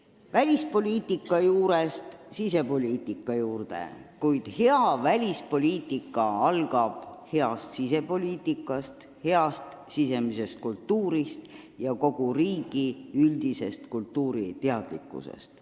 Läheme välispoliitika juurest sisepoliitika juurde, aga hea välispoliitika algab heast sisepoliitikast, heast sisemisest kultuurist ja kogu riigi üldisest kultuuriteadlikkusest.